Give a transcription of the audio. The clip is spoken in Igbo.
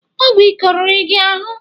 Ọgwụ ike oriri gị ahụ?